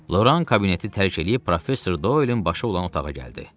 Loran kabineti tərk eləyib professor Doylin başı olan otağa gəldi.